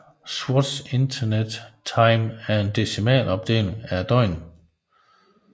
Swatch Internet Time er en decimalopdeling af døgnet